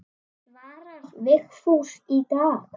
Svarar Vigfús í dag?